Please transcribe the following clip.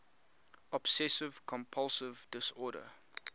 obsessive compulsive disorder